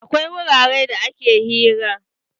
Akwai wuraren da ake hira.